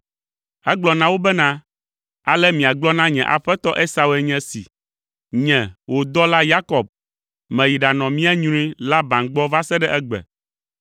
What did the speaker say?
Egblɔ na wo bena, “Ale miagblɔ na nye aƒetɔ Esau enye si: ‘Nye Wò dɔla Yakob, meyi ɖanɔ mía nyrui, Laban gbɔ va se ɖe egbe.